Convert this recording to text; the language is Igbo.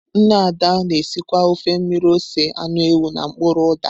Nne Ada na-esikwa ofe mmiri ose anụ ewu na mkpuru uda.